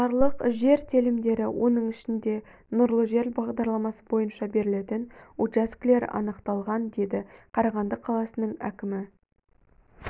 жарлық жер телімдері оның ішінде нұрлы жер бағдарламасы бойынша берілетін учаскілер анықталған деді қарағанды қаласының әкімі